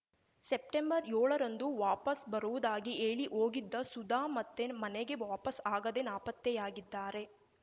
ಸೆಪ್ಟೆಂಬರ್ಯೋಳರಂದು ವಾಪಸ್‌ ಬರುವುದಾಗಿ ಹೇಳಿ ಹೋಗಿದ್ದ ಸುಧಾ ಮತ್ತೆ ಮನೆಗೆ ವಾಪಸ್‌ ಆಗದೆ ನಾಪತ್ತೆಯಾಗಿದ್ದಾರೆ